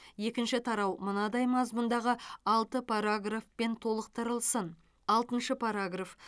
екінші тарау мынадай мазмұндағы алты параграфпен толықтырылсын алтыншы параграф